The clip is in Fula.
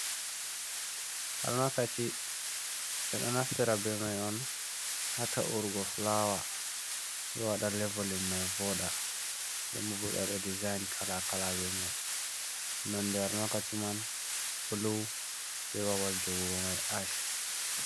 Almakachi be do naftira be mai on ha taurgo fulawa ,bewada levolin mai voda denbo bewada design kala kala be mai nonde almakaci man blu be ɓaɓal jogugo mai ash.